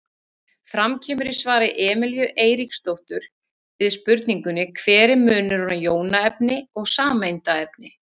Fram kemur í svari Emelíu Eiríksdóttur við spurningunni Hver er munurinn á jónaefni og sameindaefni?